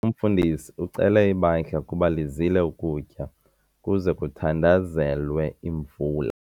Umfundisi ucele ibandla ukuba lizile ukutya ukuze kuthandazelwe imvula.